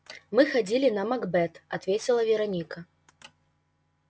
мы ходили на макбет ответила вероника